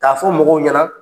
Ka fɔ mɔgɔw ɲɛna